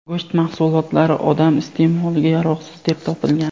go‘sht mahsulotlari odam iste’moliga yaroqsiz deb topilgan.